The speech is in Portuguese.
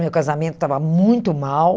Meu casamento estava muito mal.